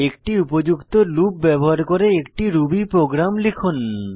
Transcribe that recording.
একটি উপযুক্ত লুপ ব্যবহার করে একটি রুবি প্রোগ্রাম লিখুন